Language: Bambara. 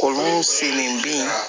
Olu selen bin